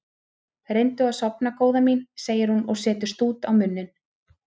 Reyndu að sofna góða mín, segir hún og setur stút á munninn.